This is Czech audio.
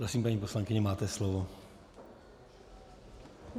Prosím, paní poslankyně, máte slovo.